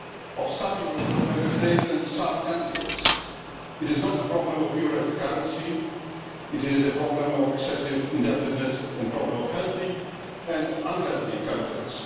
of some eurozone Member States and some candidates. It is not a problem of the euro as a currency. It is problem of excessive indebtedness and the problem of healthy and unhealthy countries.